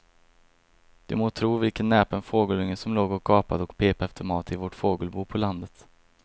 Du må tro vilken näpen fågelunge som låg och gapade och pep efter mat i vårt fågelbo på landet.